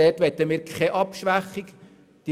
Dort möchten wir keine Abschwächung vornehmen.